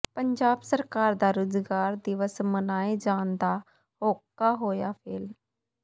ਪੰਜਾਬ ਸਰਕਾਰ ਦਾ ਰੁਜ਼ਗਾਰ ਦਿਵਸ ਮਨਾਏ ਜਾਣ ਦਾ ਹੋਕਾ ਹੋਇਆ ਫੇਲ੍ਹ